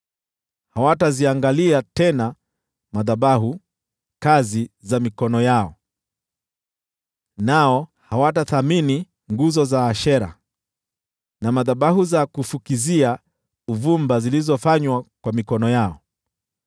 Hawataziangalia tena madhabahu, kazi za mikono yao, nao hawataheshimu nguzo za Ashera, na madhabahu za kufukizia uvumba zilizofanywa kwa mikono yao.